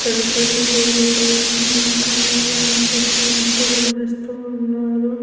ఇక్కడ పెళ్లి జరుగుతూ ఉంది. కన్య దానం చేస్తున్నట్టు కనిపిస్తూన్నారు.